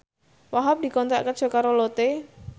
Wahhab dikontrak kerja karo Lotte